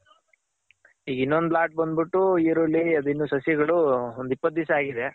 ಈಗ್ ಇನ್ನೊಂದ್ ಲಾಟ್ ಬಂದ್ ಬಿಟ್ಟು ಈರುಳ್ಳಿ ಅದಿನ್ನು ಸಸಿಗಳು ಒಂದ್ ಇಪ್ಪತ್ ದಿವ್ಸ ಆಗಿದೆ.